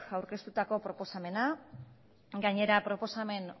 aurkeztutako proposamena gainera proposamen